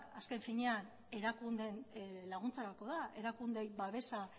azken finean erakundeen laguntzarako da erakundeei babesa